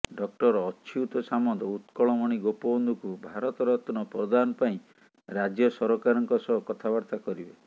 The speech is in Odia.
ଡକ୍ଟର ଅଚ୍ୟୁତ ସାମନ୍ତ ଉତ୍କଳମଣି ଗୋପବନ୍ଧୁଙ୍କୁ ଭାରତ ରତ୍ନ ପ୍ରଦାନ ପାଇଁ ରାଜ୍ୟ ସରକାରଙ୍କ ସହ କଥାବାର୍ତ୍ତା କରିବେ